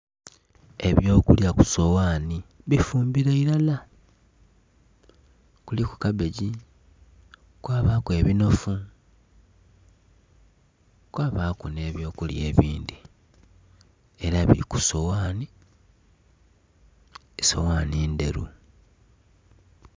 Ebyo kulya ku soghani bifumbire iilala kuliku kabbegi, kwabaku ebinhofu kwabaku nhe byo kulya ebindhi era bili ku soghani, esoghanhi ndheru.